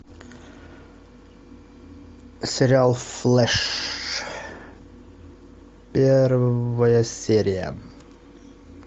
сериал флэш первая серия